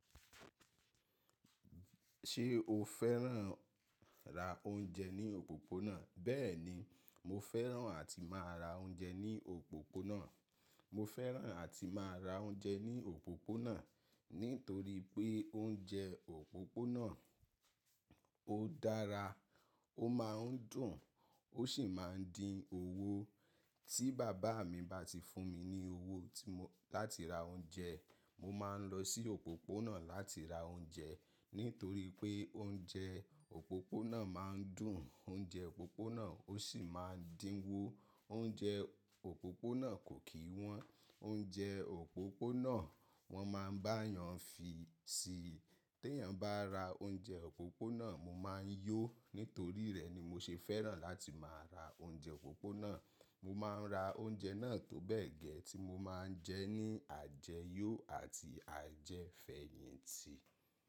Ṣé o fẹ́ràn ra oúnjẹ ní òpópónà? Bẹ́ẹ̀ni, mo fẹ́ràn àti máa ra oúnjẹ ní òpópónà. Mo fẹ́ràn àti máa ra oúnjẹ ní òpópónà nítorí pé oúnjẹ òpópónà ó dára, ó máa ń dùn, ó sì máa ń dín owó. Tí bàbá mi bá ti fún mi ní owó tí mo-- láti ra oúnjẹ, mo máa ń lọ sí òpópónà láti ra oúnjẹ nítorí pé oúnjẹ òpópónà máa ń dùn. Oúnjẹ òpópónà ó sì máa ń dínwó. Oúnjẹ òpópónà kò kí wọ́n. Oúnjẹ òpópónà wọ́n máa ń bá yàn fi sí i. Tẹ́yàn bá ra oúnjẹ òpópónà, mo máa ń yó. Nítorí rẹ̀ ni mo ṣe fẹ́ràn láti máa ra oúnjẹ òpópónà. Mo máa ń ra oúnjẹ náà tó bẹ́ẹ̀ gẹ ti mo máa ń jẹ ní àjẹyọ àti àjẹfẹ̀yìntì.